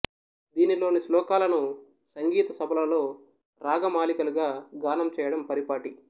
దీనిలోని శ్లోకాలను సంగీత సభలలో రాగమాలికలుగా గానం చేయడం పరిపాటి